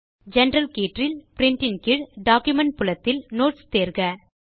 general கீற்றில் print ன் கீழ் டாக்குமென்ட் புலத்தில் நோட்ஸ் தேர்க